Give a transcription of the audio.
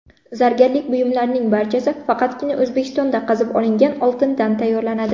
Zargarlik buyumlarining barchasi faqatgina O‘zbekistonda qazib olingan oltindan tayyorlanadi.